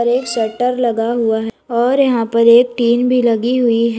एक शटर लगा हुआ है और यहां पर एक टीन भी लगी हुई है।